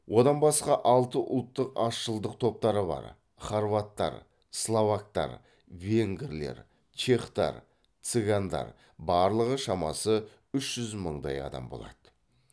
одан басқа алты ұлттық азшылдық топтары бар хорваттар словактар венгрлер чехтар цыгандар